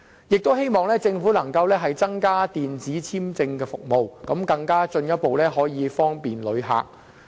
我們也希望政府增加電子簽證服務，進一步方便旅客。